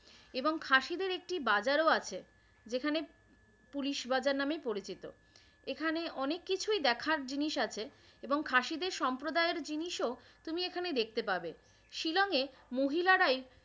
এবং খাসিদের একটি বাজারও আছে, যেখানে পুলিশ বাজার নামেই পরিচিত। এখানে অনেক কিছুই দেখার জিনিস আছে এবং খাসিদের সম্প্রদায়ের জিনিসও তুমি এখানে দেখতে পাবে। শিলংয়ে মহিলারাই